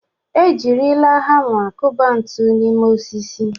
Ejirila hama kụba ntu n'ime osisi.